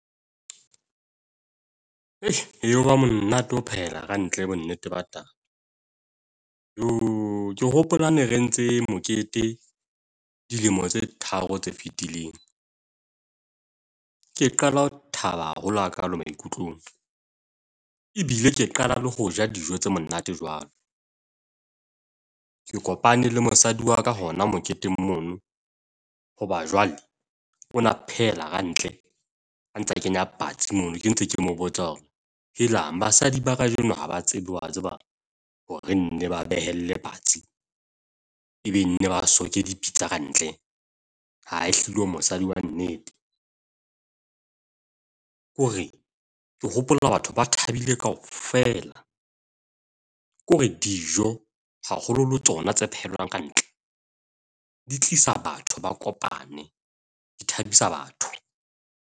Ayoba monate ho phela kantle bonneteng ba taba. Jooo, ke hopola ha ne re entse mokete dilemo tse tharo tse fetileng. Ke qala ho thaba haholo hakaalo maikutlong. Ebile ke qala le ho ja dijo tse monate jwalo. Ke kopane le mosadi wa ka hona moketeng mono, hoba jwale o na phehela kantle. A ntse a kenya batsi mono, ke ntse ke mo botsa hore helang basadi ba kajeno ha ba tsebe, wa tseba hore nne ba behelle patsi, ebe nne ba soke dipitsa kantle. Ha, ehlile o mosadi wa nnete. Ke hore ke hopola batho ba thabile kaofela. Kore dijo haholoholo tsona tse phehelwang kantle di tlisa batho ba kopane, di thabisa batho.